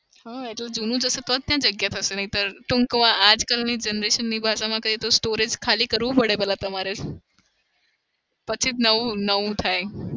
હ એટલે જુનું જશે તો જ ત્યાં જગ્યા થશે. નહીતર ટૂંક મા આજકાલની generation ની ભાષામાં કહીએ તો storage ખાલી કરવું પડે પેલા તમારે. પછી જ નવું નવું થાય.